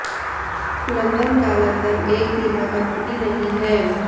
London का London एक बीमा कंपनी नहीं है